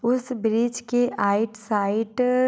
उस ब्रीज की आइट साइट --